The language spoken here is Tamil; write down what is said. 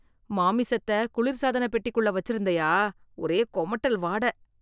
மாமிசத்த குளிர் சாதனப்பெட்டிக்குள்ள வச்சுருந்தயா, ஒரே குமட்டல் வாடை.